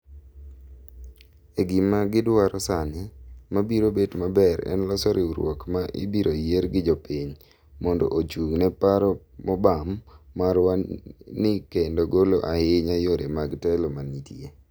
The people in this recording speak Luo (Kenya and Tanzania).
e gima gi dwaro sani , ma biro bet maber en loso riwruok ma ibiro yier gi jopiny. mondo ochung ne paro mobam marwa ni kendo golo ahinya yore mag telo manitie